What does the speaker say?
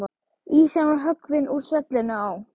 Ísinn var höggvinn úr svellinu á